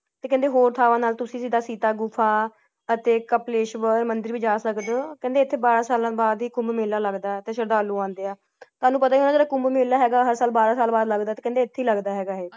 ਤੇ ਕਹਿੰਦੇ ਹੋਰ ਥਾਵਾਂ ਨਾਲ ਤੁਸੀ ਜਿੰਦਾ ਸੀਤਾ ਗੁਫਾ ਅਤੇ ਕਪਲੇਸ਼ਵਾਰ ਮੰਦਿਰ ਵੀ ਜਾ ਸਕਦੇ ਹੋ ਕਹਿੰਦੇ ਐਥੇ ਬਾਰੇ ਸਾਲ ਬਾਅਦ ਹੀ ਕੁੰਭ ਮੇਲਾ ਲੱਗਦਾ ਹੈ ਤੇ ਸ਼ਰਧਾਲੂ ਆਂਦੇ ਹਾ ਸਾਨੂ ਪਤਾ ਹੈ ਜੇਦਾ ਕੁੰਭ ਮੇਲਾ ਹੈਗਾ ਹਰ ਸਾਲ ਬਾਰ ਸਾਲ ਬਾਅਦ ਲੱਗਦਾ ਹੈ ਤੇ ਕਹਿੰਦੇ ਐਥੇ ਹੀ ਲੱਗਦਾ ਹੈ ।